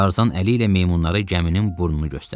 Tarzan əli ilə meymunlara gəminin burnunu göstərdi.